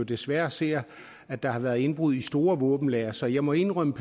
desværre ser at der har været indbrud i store våbenlagre så jeg må indrømme